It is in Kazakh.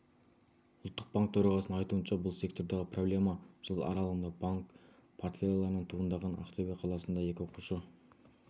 ұлттық банк төрағасының айтуынша бұл сектордағы проблема жыл аралығындағы банк портфеляларынан туындаған ақтөбе қаласында екі оқушы